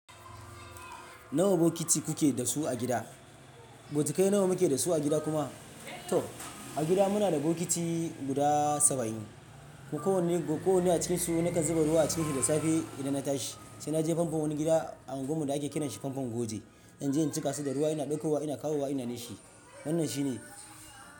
Nawa bokiti kuke da su a gida? Botukai nawa muke da su a gida kuma. To a gida muna da bokiti guda saba'in. Ko wanne a cikinsu na kan zuba ruwa a ciki da safe idan na tashi. Sai na je famfon wani gida a unguwar mu da ake kira shi famfon Goge. In je in cika su da ruwa ina ɗauko wa ina kawo wa ina nishi. Wannan shi ne.